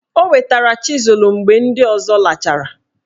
O wetara chịzul mgbe ndị ọzọ lachara?